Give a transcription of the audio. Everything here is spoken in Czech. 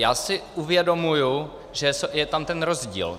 Já si uvědomuji, že je tam ten rozdíl.